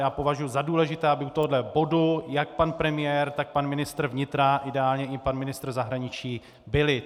Já považuji za důležité, aby u tohohle bodu jak pan premiér, tak pan ministr vnitra, ideálně i pan ministr zahraničí byli.